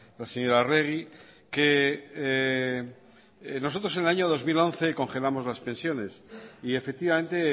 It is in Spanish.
la señora arregi que nosotros en el año dos mil once congelamos las pensiones y efectivamente